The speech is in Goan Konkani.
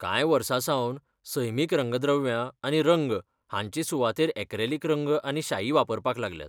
कांय वर्सांसावन सैमीक रंगद्रव्यां आनी रंग हांचे सुवातेर ऍक्रेलिक रंग आनी शाई वापरपाक लागल्यात.